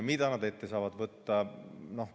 Mida nad ette saavad võtta?